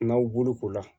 N'aw boloko la